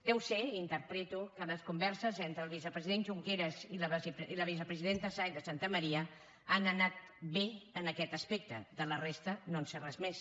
deu ser interpreto que les converses entre el vicepresident junqueras i la vicepresidenta sáenz de santamaría han anat bé en aquest aspecte de la resta no en sé res més